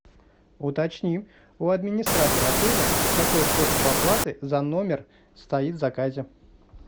уточни у администратора отеля какой способ оплаты за номер стоит в заказе